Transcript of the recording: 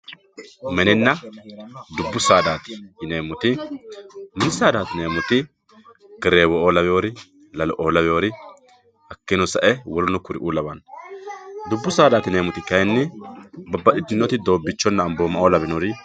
Mininna dubu saadati yineemoti, mini saada yineemoti, gereewo'o laweyori, lalo'o lawiyori hakino sa'e woleno kuriu lawano. Dubu saadati yineemori kayinni babaxitinori doobbichonna ambooma lawinori